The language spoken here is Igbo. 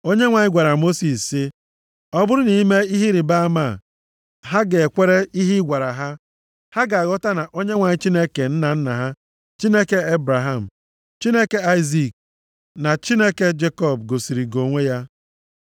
Onyenwe anyị gwara Mosis sị, “Ọ bụrụ na i mee ihe ịrịbama a, ha ga-ekwere ihe ị gwara ha. Ha ga-aghọta na Onyenwe anyị Chineke nna nna ha, Chineke Ebraham, Chineke Aịzik, na Chineke Jekọb gosiri gị onwe ya.”